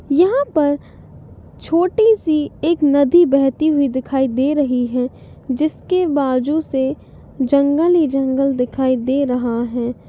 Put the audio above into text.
यहाँ पर छोटी सी एक नदी बहती हुई दिखाई दे रही है जिसके बाजु से जंगल ही जंगल दिखाई दे रहा है।